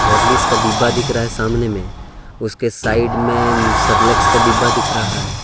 Horlicks का डिब्बा दिख रहा है सामने में उसके साइड में सेरेलेक्स का डिब्बा दिख रहा है।